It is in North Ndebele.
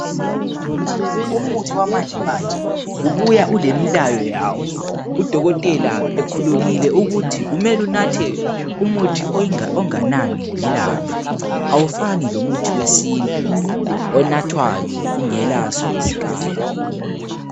Umuthi wamanje manje .Ubuya ulemilayo yawo .Udokotela ekhulumile ukuthi kumele unathe umuthi onganani ngelanga .Awufani lomuthi wesintu . Onathwayo ungelaso iskali